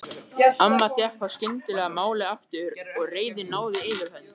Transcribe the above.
Amma fékk þá skyndilega málið aftur og reiðin náði yfirhöndinni.